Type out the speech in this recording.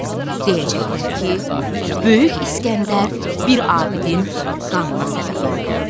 Deyəcəklər ki, böyük İsgəndər bir abidin qanına səbəb oldu.